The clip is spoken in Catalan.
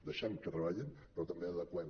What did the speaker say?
deixem que treballin però també adeqüem